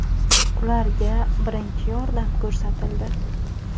Ularga birinchi yordam ko‘rsatildi.